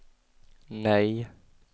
nej